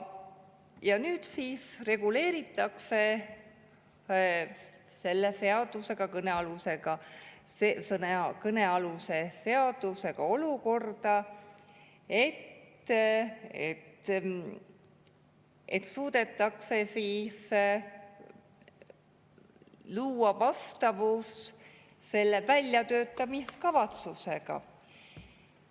Ja nüüd siis reguleeritakse kõnealuse seadusega olukorda, et suudetaks luua vastavus väljatöötamiskavatsusega.